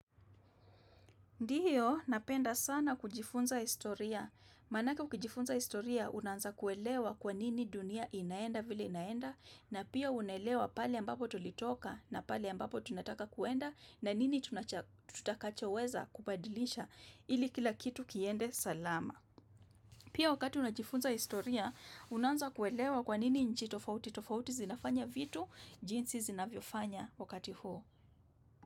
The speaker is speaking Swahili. Ndiyo, napenda sana kujifunza historia. Manake ukijifunza historia, unaanza kuelewa kwa nini dunia inaenda vile inaenda, na pia unaelewa pahali ambapo tulitoka, na pahali ambapo tunataka kuenda, na nini tutakachoweza kubadilisha ili kila kitu kiende salama. Pia wakati unajifunza historia, unaanza kuelewa kwa nini nchi tofauti. Tofauti zinafanya vitu, jinsi zinavyofanya wakati huo.